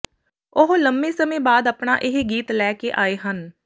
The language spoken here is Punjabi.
ਉਹ ਲੰਮੇ ਸਮੇਂ ਬਾਅਦ ਆਪਣਾ ਇਹ ਗੀਤ ਲੈ ਕੇ ਆਏ ਹਨ